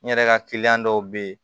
N yɛrɛ ka kiliyan dɔw bɛ ye